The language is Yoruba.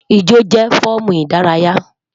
Ijo jẹ fọọmu idaraya